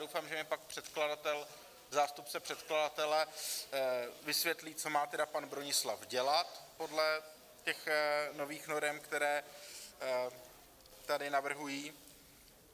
Doufám, že mi pak předkladatel, zástupce předkladatele vysvětlí, co má tedy pan Bronislav dělat podle těch nových norem, které tady navrhují.